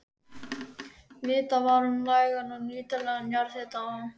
Vitað var um nægan og nýtanlegan jarðhita á